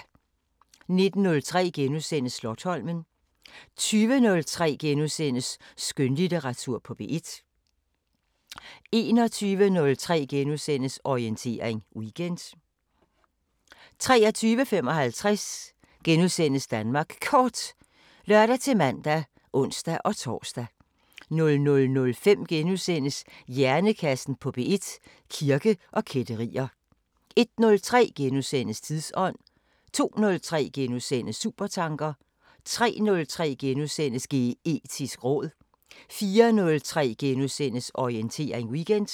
19:03: Slotsholmen * 20:03: Skønlitteratur på P1 * 21:03: Bagklog på P1: Katrine Marie Guldager * 23:03: Orientering Weekend * 23:55: Danmark Kort *(lør-man og ons-tor) 00:05: Hjernekassen på P1: Kirke og kætterier * 01:03: Tidsånd * 02:03: Supertanker * 03:03: Geetisk råd * 04:03: Orientering Weekend *